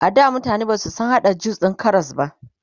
ada mutane Basu San hada jus din Karas ba